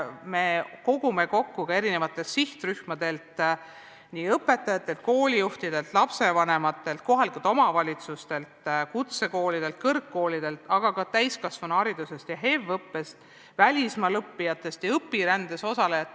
Me kogume kokku küsimused eri sihtrühmadelt – õpetajatelt, koolijuhtidelt, lapsevanematelt, kohalikelt omavalitsustelt, kutsekoolidelt, kõrgkoolidelt, ka täiskasvanuhariduse valdkonnast ja HEV-õppest, välismaal õppijatelt ja õpirändes osalejatelt.